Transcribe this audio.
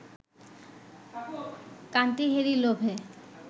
কান্তি হেরি লোভে